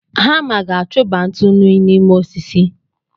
Hama ga-achụba ntụnụ n'ime osisi.